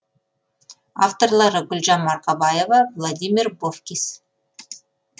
авторлары гүлжан марқабаева владимир бовкис